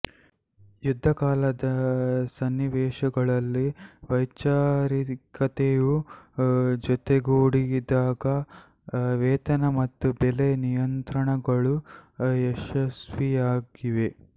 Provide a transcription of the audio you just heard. ಯುದ್ದಕಾಲದ ಸನ್ನಿವೇಶಗಳಲ್ಲಿ ವೈಚಾರಿಕತೆಯೂ ಜೊತೆಗೂಡಿದಾಗ ವೇತನ ಮತ್ತು ಬೆಲೆ ನಿಯಂತ್ರಣಗಳು ಯಶಸ್ವಿಯಾಗಿವೆ